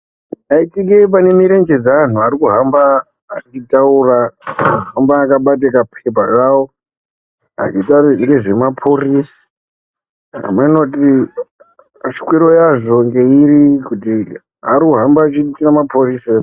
Ukateyi panemurenje dze antu eyihamba achitaura arikuhamba akabata kapepa kawo achitaure zvinhu zvema porosi hameno kuti shwiro yazvo ngeyiri kuti ari kuhamba chiita maporisa here.